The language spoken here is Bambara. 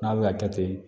N'a bɛ ka kɛ ten